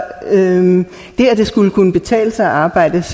at det skulle kunne betale sig at arbejde